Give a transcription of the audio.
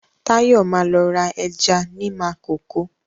Táyọ̀ ma lọ ra ẹja ní Makòko